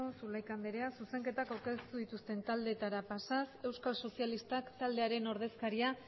zulaika andrea zuzenketak aurkeztu dituzten taldeetara pasa euskal sozialistak taldearen ordezkaria